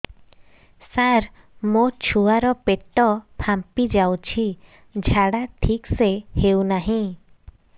ସାର ମୋ ଛୁଆ ର ପେଟ ଫାମ୍ପି ଯାଉଛି ଝାଡା ଠିକ ସେ ହେଉନାହିଁ